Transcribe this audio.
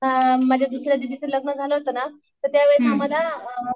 अ माझ्या दुसऱ्या दीदीचं लग्न झालं होतं ना तर त्यावेळेस आम्हाला